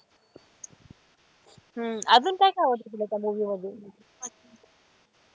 हम्म अजून काय काय आवडत तुला त्या movie मध्ये?